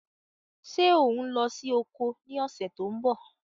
Ṣé ò ń lọ sí oko ní ọ̀sẹ̀ tó ń bọ̀?